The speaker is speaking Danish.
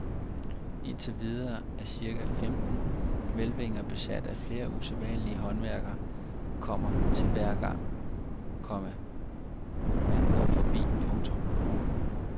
Indtil videre er cirka femten hvælvinger besat og flere usædvanlige håndværk kommer til hver gang, komma man går forbi. punktum